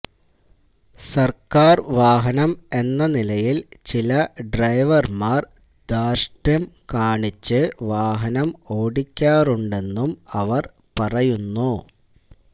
സർക്കാർ വാഹനം എന്ന നിലയിൽ ചില ഡ്രൈവർമാർ ധാർഷ്ട്യം കാണിച്ച് വാഹനം ഓടിക്കാറുണ്ടെന്നും അവർ പറയുന്നു